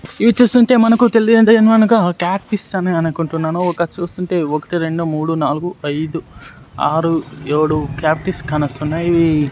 ఇవి చూస్తుంటే మనకు తెలియనిది ఏమనగా క్యాట్ ఫిష్ అని అనుకుంటున్నాను ఒకటి చూస్తుంటే ఒకటి రెండు మూడు నాలుగు ఐదు ఆరు ఏడు క్యాట్ ఫిష్ కానొస్తున్నాయి.